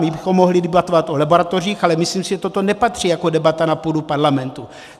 My bychom mohli debatovat o laboratořích, ale myslím si, že to nepatří jako debata na půdu parlamentu.